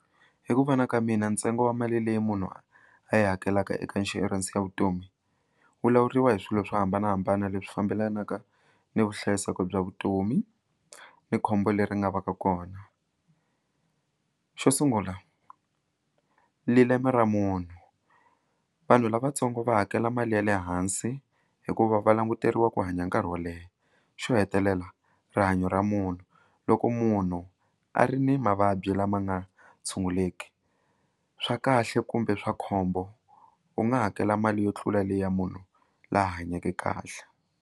Hi ku vona ka mina ntsengo wa mali leyi munhu a yi hakelaka eka insurance ya vutomi wu lawuriwa hi swilo swo hambanahambana leswi fambelanaka ni vuhlayiseki bya vutomi ni khombo leri nga va ka kona xo sungula lileme ra munhu vanhu lavatsongo va hakela mali ya le hansi hikuva va languteriwa ku hanya nkarhi wo leha xo hetelela rihanyo ra munhu loko munhu a ri ni mavabyi lama nga tshunguleki swa kahle kumbe swa khombo u nga hakela mali yo tlula leya munhu la hanyeke kahle.